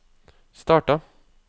starta